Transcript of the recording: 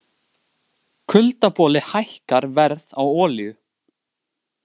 Kuldaboli hækkar verð á olíu